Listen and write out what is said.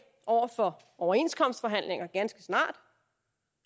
over for overenskomstforhandlinger ganske snart